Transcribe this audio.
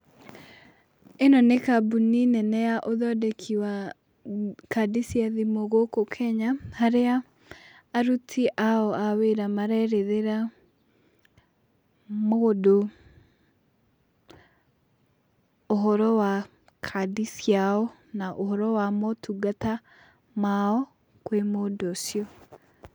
Ĩno nĩ kambuni nene ya ũthondeki wa kandi cia thimũ gũkũ Kenya, harĩa aruti ao a wĩra marerethera mũndũ ũhoro wa kandi ciao, na ũhoro wa motungata mao kwĩ mũndũ ũcio.